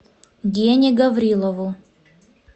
гене гаврилову